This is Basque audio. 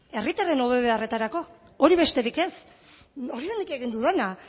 herritarren hobe beharretarako hori besterik ez hori da nik egin dudana